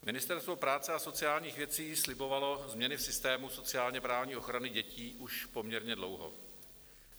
Ministerstvo práce a sociálních věcí slibovalo změny v systému sociálně-právní ochrany dětí už poměrně dlouho.